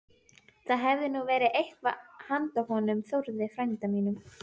Það hefði nú verið eitthvað handa honum Þórði frænda mínum!